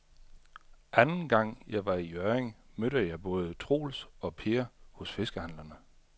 Anden gang jeg var i Hjørring, mødte jeg både Troels og Per hos fiskehandlerne.